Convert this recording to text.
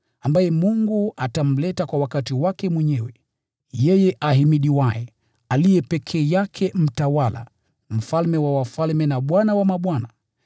ambaye Mungu atamleta kwa wakati wake mwenyewe: yeye ahimidiwaye, aliye peke yake Mtawala, Mfalme wa wafalme, na Bwana wa mabwana,